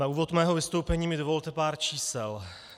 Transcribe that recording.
Na úvod mého vystoupení mi dovolte pár čísel.